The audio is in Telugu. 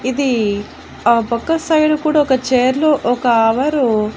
ఇది ఆ పక్క సైడ్ కూడా ఒక చైర్ లో ఒక అవరు --